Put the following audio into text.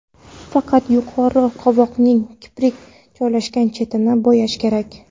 Faqat yuqori qovoqning kiprik joylashgan chetini bo‘yash kerak.